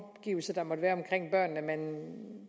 omgivelser der måtte være omkring børnene at man